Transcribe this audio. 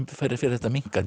fer þetta minnkandi